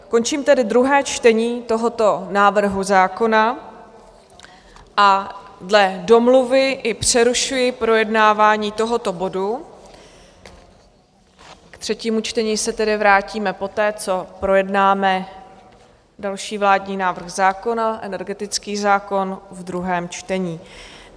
Končím tedy druhé čtení tohoto návrhu zákona a dle domluvy i přerušuji projednávání tohoto bodu, k třetímu čtení se tedy vrátíme poté, co projednáme další vládní návrh zákona, energetický zákon, v druhém čtení.